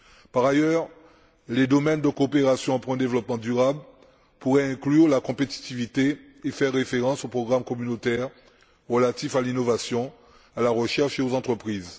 Par ailleurs, les domaines de coopération en faveur d'un développement durable pourraient inclure la compétitivité et faire référence aux programmes communautaires relatifs à l'innovation, à la recherche et aux entreprises.